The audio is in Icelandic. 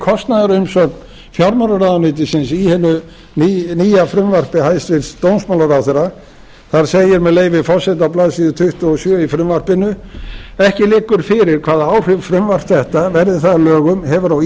kostnaðarumsögn fjármálaráðuneytisins í hinu nýja frumvarpi hæstvirts dómsmálaráðherra þar segir með leyfi forseta á blaðsíðu tuttugu og sjö í frumvarpinu ekki liggur fyrir hvaða áhrif frumvarp þetta verði það að lögum hefur á